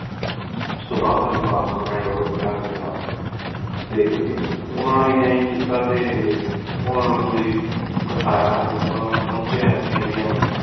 ਉਸ ਤੋ ਬਾਦ ਤੇਨੁ ਪਾਸਪੋਰਟ handover ਕਰਾਂ ਗੀ ਆਪਾ ਟੀ ਓਹਨਾ ਨੂ ਇੰਜ ਕੀਤਾ ਟੀ ਓਹਨਾ ਨੀ ਮਨੁ ਗੀ ਬੇਥਾਯਾ ਟੀ ਜਦੋਂ ਮੇਂ ਪੋੰਚ੍ਯਾ ਏਥੀ India ਨੌ